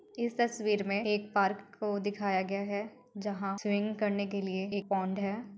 इस तस्वीर में एक पार्क को दिखाया गया है जहाँ स्विमिंग करने के लिए एक पोंड है।